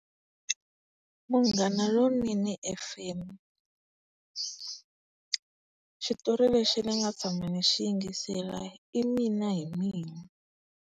Munghana lonene F_M. Xitori lexi ni nga tshama ni xi yingisela i mina hi mina.